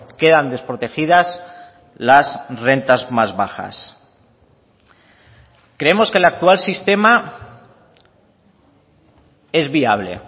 quedan desprotegidas las rentas más bajas creemos que el actual sistema es viable